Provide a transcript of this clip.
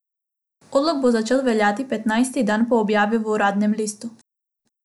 Odlok bo začel veljati petnajsti dan po objavi v uradnem listu.